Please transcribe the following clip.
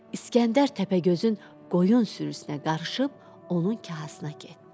İsgəndər təpəgözün qoyun sürüsünə qarışıb onun kahasına getdi.